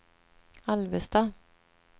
Alvesta